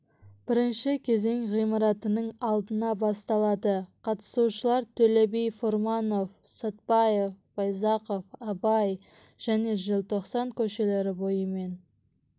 бірінші кезең ғимаратының алдынан басталады қатысушылар төле би фурманов сәтпаев байзақов абай және желтоқсан көшелері бойымен